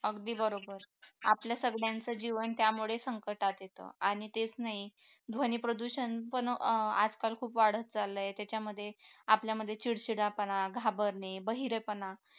अगदी बरोबर आपल्या सगळ्यांचे जीवन त्यामुळे संकटात येतं आणि तेच नाही ध्वनी प्रदूषण पण आजकाल खूप वाढत चाललं आहे त्याच्यामध्ये आपल्यामध्ये चिडचिडापणा घाबरणे बहिरेपणा